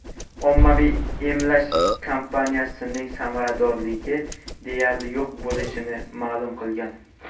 ommaviy emlash kampaniyasining samaradorligi deyarli yo‘q bo‘lishini ma’lum qilgan.